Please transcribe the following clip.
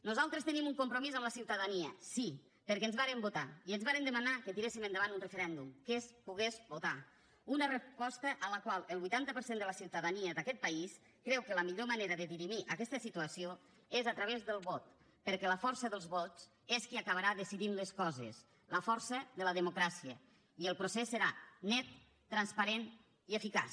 nosaltres tenim un compromís amb la ciutadania sí perquè ens varen votar i ens varen demanar que tiréssim endavant un referèndum que es pogués votar una resposta en la qual el vuitanta per cent de la ciutadania d’aquest país creu que la millor manera de dirimir aquesta situació és a través del vot perquè la força dels vots és qui acabarà decidint les coses la força de la democràcia i el procés serà net transparent i eficaç